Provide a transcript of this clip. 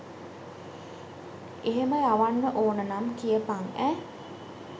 එහෙම යවන්න ඕන නම් කියපන් ඈ.